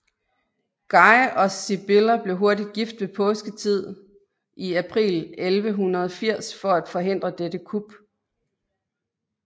Guy og Sibylla blev hurtigt gift ved påsketid i april 1180 for at forhindre dette kup